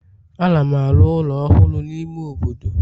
Ana m arụ ụlọ ọhụrụ n'ime obodo